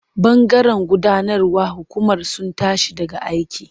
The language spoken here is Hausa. Bangaren gudanarwar hukumar sun tashi daga aiki.